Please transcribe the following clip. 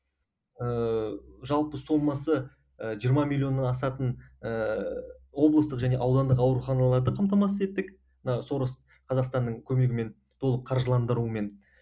ыыы жалпы сомасы ы жиырма миллионнан асатын ыыы облыстық және аудандық ауруханаларды қамтамасыз еттік мына сорос қазақстанның көмегімен толық қаржыландырумен